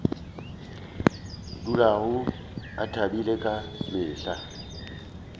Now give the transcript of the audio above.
dulago a thabile ka mehla